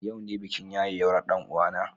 Yau ne bikin yayewar ɗan uwana.